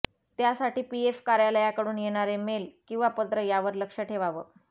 त्यासाठी पीएफ कार्यालयाकडून येणारे मेल किंवा पत्र यावर लक्ष ठेवावं